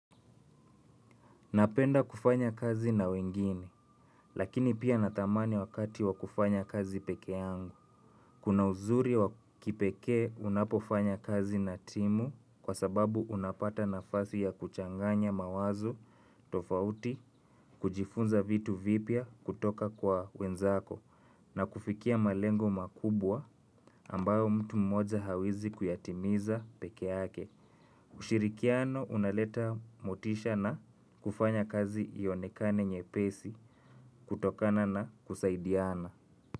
Napenda kufanya kazi na wengine, lakini pia nathamani wakati wa kufanya kazi peke yangu. Kuna uzuri wa kipekee unapofanya kazi na timu kwa sababu unapata nafasi ya kuchanganya mawazo tofauti, kujifunza vitu vipya kutoka kwa wenzako, na kufikia malengo makubwa ambayo mtu mmoja hawezi kuyatimiza peke yake. Ushirikiano unaleta motisha na kufanya kazi ionekane nyepesi kutokana na kusaidiana.